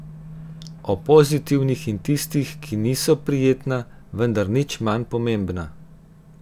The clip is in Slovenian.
O pozitivnih in tistih, ki niso prijetna, vendar nič manj pomembna.